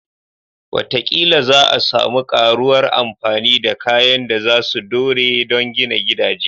Wataƙila za a sami ƙaruwar amfani da kayan da za su dore don gina gidaje